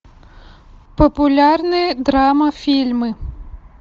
популярные драма фильмы